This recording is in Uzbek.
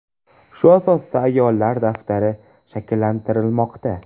Shu asosda ‘ayollar daftari’ shakllantirilmoqda.